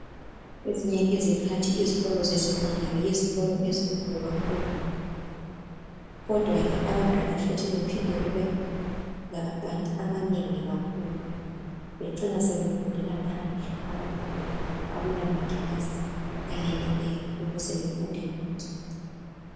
Ezinye izikhathi izikolo zesekhondari yizikolo ezinkulu kakhulu, kodwa ke abantwana futhi baphinde kubelabantwana abanengi kakhulu bacine sebefundela phandle abantwana ngoba akula makilasi ayeneleyo ukuze bafunde bonke.